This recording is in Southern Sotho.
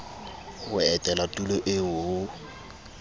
ho etela tulo eo ho